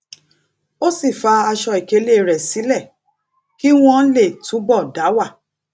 ó sì fa aṣọ ìkélé rè sílè kí wón lè túbò dá wà